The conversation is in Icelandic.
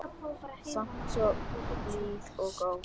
Samt svo blíð og góð.